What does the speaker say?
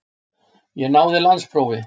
Ég náði landsprófi.